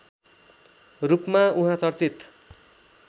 रूपमा उहाँ चर्चित